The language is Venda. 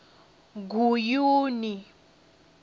guyuni